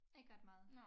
Ikke ret meget